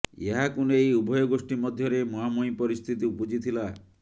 ଏହାକୁ ନେଇ ଉଭୟ ଗୋଷ୍ଠୀ ମଧ୍ୟରେ ମୁହାଁମୁହିଁ ପରିସ୍ଥିତି ଉପୁଜିଥିଲା